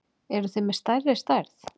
Eruð þið með stærri stærð?